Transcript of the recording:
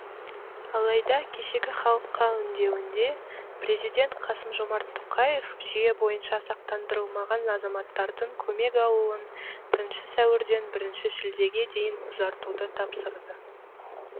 алайда кешегі халыққа үндеуінде президент қасым жомарт тоқаев жүйе бойынша сақтандырылмаған азаматтардың көмек алуын бірінші сәуірден бірінші шілдеге дейін ұзартуды тапсырды